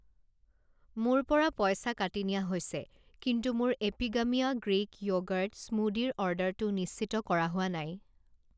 মোৰ পৰা পইচা কাটি নিয়া হৈছে, কিন্তু মোৰ এপিগামিয়া গ্ৰীক য়'গৰ্ট স্মুদিৰ অৰ্ডাৰটো নিশ্চিত কৰা হোৱা নাই।